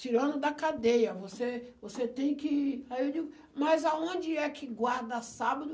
Tirando da cadeia, você você tem que... Aí ele, mas aonde é que guarda sábado?